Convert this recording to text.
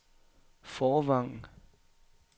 Fårvang